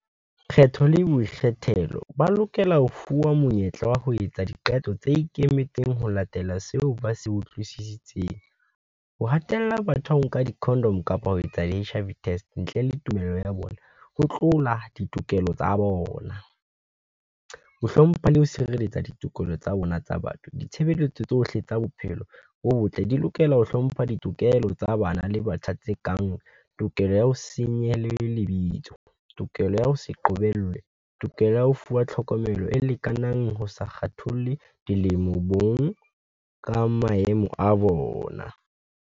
Kgetho le boikgethelo ba lokela ho fuwa monyetla wa ho etsa diqeto tse ikemetseng ho latela seo ba se utlwisisitseng. Ho hatella batho ho nka di-condom kapa ho etsa di-H_I_V test ntle le tumello ya bona, ho tlola ditokelo tsa bona. Ho hlompha le ho sireletsa ditokelo tsa bona tsa batho, ditshebeletso tsohle tsa bophelo bo botle di lokela ho hlompha ditokelo tsa bana le batjha tse kang tokelo ya ho , lebitso, tokelo ya ho se qobellwe, tokelo ya ho fuwa tlhokomelo e lekanang ho sa kgatholle dilemo, bong ka maemo a bona.